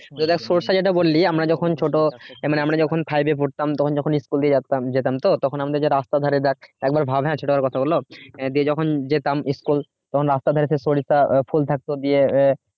তোর যে সরষে যেটা বলি আমরা যখন ছোট মনে আমরা যখন five পড়তাম তখন যখন school এ যেতাম যেতাম তখন আমার রাস্তার ধারে দেখ একবার ভাব ছোটবেলার কথা বললাম আহ যখন যেতাম school তখন রাস্তার ধারে সেই সরিষা ফুল থাকতো আহ